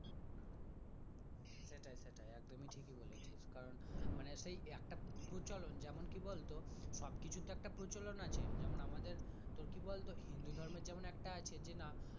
সেটাই সেটাই একদমই ঠিক এ বলছিস কারণ মানে সেই একটা সুচালন যেমন কি বলতো সবকিছু একটা প্রচলন আছে যেমন আমাদের কি বলতো হিন্দু ধর্মের জাম একটা আছে যে না।